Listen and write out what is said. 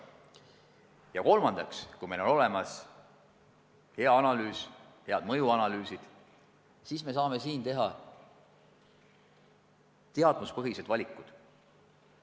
Ja kolmandaks, kui meil on tehtud korralik eeltöö ja olemas head mõjuanalüüsid, siis me saame teha teadmuspõhised valikud.